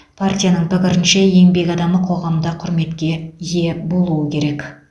партияның пікірінше еңбек адамы қоғамда құрметке ие болуы керек